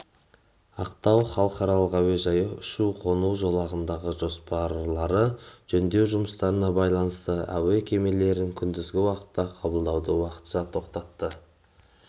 ақтау халықаралық әуежайы ұшу-қону жолағындағы жоспарлы жөндеу жұмыстарына байланысты әуе кемелерін күндізгі уақытта қабылдауды уақытша тоқтатады